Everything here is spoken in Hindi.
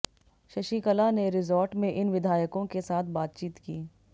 शशिकला ने रिजॉर्ट में इन विधायकों के साथ बातचीत की